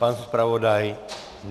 Pan zpravodaj?